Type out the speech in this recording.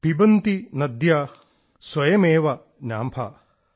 പിബന്തി നദ്യഃ സ്വയമേവ നാംഭഃ